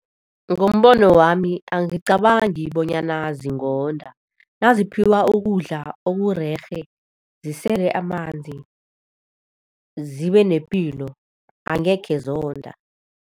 Ngombono wami, angicabangi bonyana zingonda. Naziphiwa ukudla okurerhe, zisele amanzi, zibe nepilo, angekhe zonda.